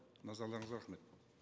назарларыңызға рахмет